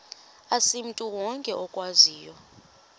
asimntu wonke okwaziyo